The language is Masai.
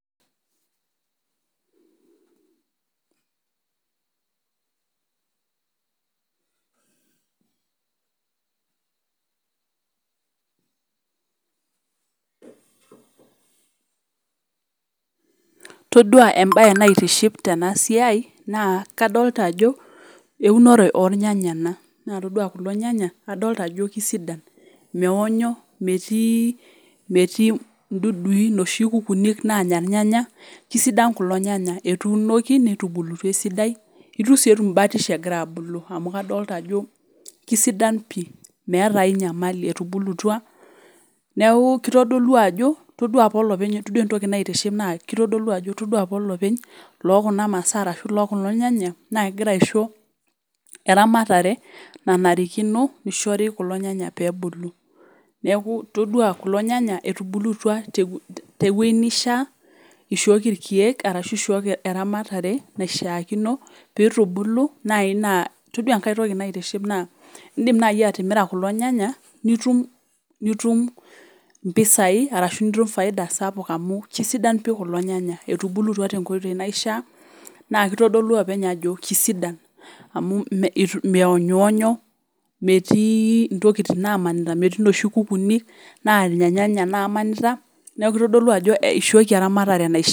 Prolonged pauses.